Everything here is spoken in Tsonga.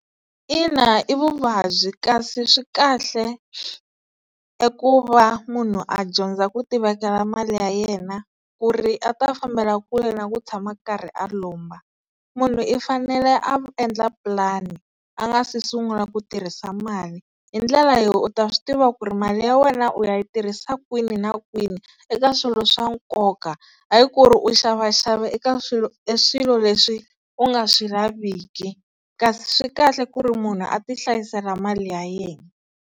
Ina, i vuvabyi kasi swi kahle eku va munhu a dyondza ku ti vekela mali ya yena ku ri a ta fambela kule na ku tshama a karhi a lomba, munhu i fanele a endla pulani a nga si sungula ku tirhisa mali hi ndlela yo u ta swi tiva ku ri mali ya wena u ya yi tirhisa kwini na kwini eka swilo swa nkoka, hayi ku ri u xavaxava eka swilo e swilo leswi u nga swi laviki kasi swi kahle ku ri munhu a ti hlayisela mali ya yena.